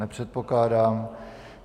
Nepředpokládám.